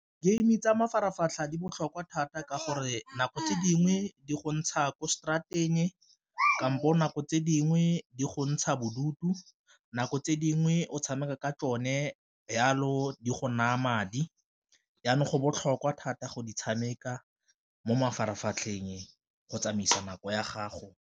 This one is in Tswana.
Game tsa mafaratlhatlha di botlhokwa thata ka gore nako tse dingwe di go ntsha kwa straat-eng, kampo nako tse dingwe di go ntsha bodutu, nako tse dingwe nngwe o tshameka ka tsone jalo di go naya madi. Jaanong go botlhokwa thata go di tshameka mo mafaratlhatlheng go tsamaisa nako ya gago.